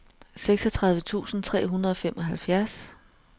seksogtredive tusind tre hundrede og femoghalvfems